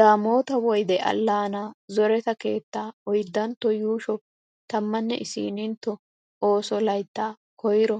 "Daamoota woyde allaanaa zoretta keettaa oydantto yuushsho tammanne isinintto oosso layttaa koyro